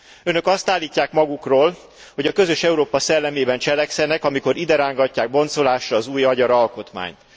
Önök azt állítják magukról, hogy a közös Európa szellemében cselekszenek, amikor iderángatják boncolásra az új magyar alkotmányt.